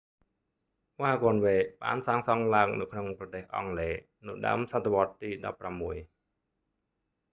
វ៉ាហ្គនវេស៍ wagonways បានសាងសង់ឡើងនៅក្នុងប្រទេសអង់គ្លេស នៅដើមសតវត្សទី 16